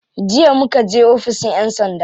Jiya muka je oficin yan sanda.